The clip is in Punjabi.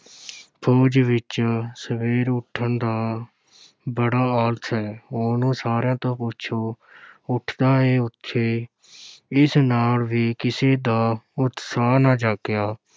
ਫ਼ੌਜ ਵਿੱਚ ਸਵੇਰੇ ਉਠਣ ਦਾ ਬੜਾ ਆਲਸ ਏ ਉਹਨੂੰ ਸਾਰਿਆਂ ਤੋਂ ਪਿੱਛੋਂ ਉਠਦਾ ਏ ਓਥੇ ਇਸ ਨਾਲ ਵੀ ਕਿਸੇ ਦਾ ਉਤਸ਼ਾਹ ਨਾ ਜਾਗਿਆ।